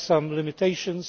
There are some limitations.